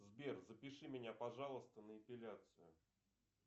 сбер запиши меня пожалуйста на эпиляцию